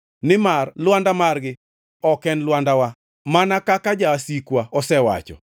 Nimar lwanda margi ok en Lwandawa mana kaka jasikwa osewacho.